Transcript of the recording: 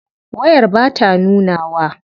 Wayar bata nunawa.